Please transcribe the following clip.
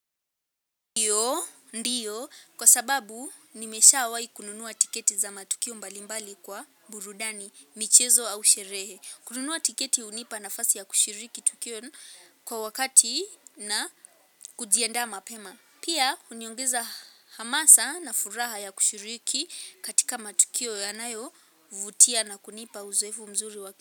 Ndiyo, ndiyo kwa sababu nimeshawahi kununua tiketi za matukio mbalimbali kwa burudani, michezo au sherehe. Kununua tiketi hunipa nafasi ya kushiriki tukio kwa wakati na kujiandaa mapema. Pia, huniongeza hamasa na furaha ya kushiriki katika matukio yanayovutia na kunipa uzoefu mzuri wa.